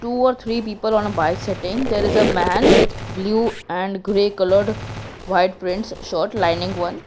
two or three people on a bike sitting there is a man with blue and grey coloured white prints shirt lining one.